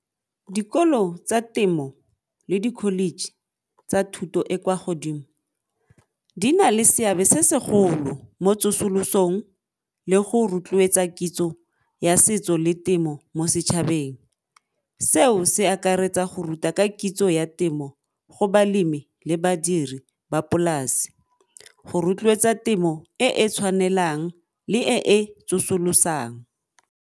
Dikolo tsa temo le dikholeji tsa thuto e kwa godimo, di na le seabe se segolo mo tsosolosong le go rotloetsa kitso ya setso le temo mo setšhabeng. Seo se akaretsa go ruta ka kitso ya temo go balemi le badiri ba polase go rotloetsa temo e e tshwanelang le e e tsosolosang.